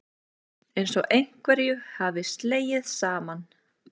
Einsog einhverju hafi slegið saman.